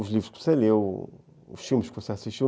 Os livros que você leu, os filmes que você assistiu.